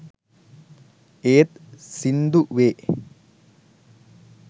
ඒත් සින්දුවේ